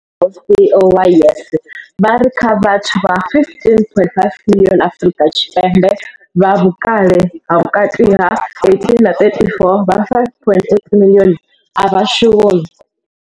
CEO wa YES, vha ri kha vhathu vha 15.5 miḽioni Afrika Tshipembe vha vhukale ha vhukati ha 18 na 34, vha 5.8 miḽioni a vha shumi.